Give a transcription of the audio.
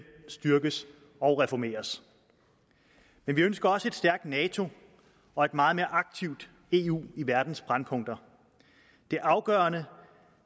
styrkes og reformeres men vi ønsker også et stærkt nato og et meget mere aktivt eu i verdens brændpunkter det er afgørende